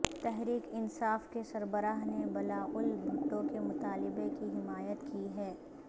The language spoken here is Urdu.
تحریک انصاف کے سربراہ نے بلاول بھٹو کے مطالبے کی حمایت کی ہے